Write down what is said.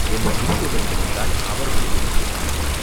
என்னைப் பின்தொடர்ந்து வந்தால் அவர்களை உமக்குக் காட்டுவேன்.